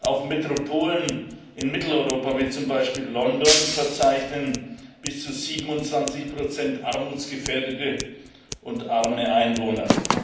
Auch Metropolen in Mitteleuropa wie zum Beispiel London verzeichnen bis zu 27 armutsgefährdete und arme Einwohner.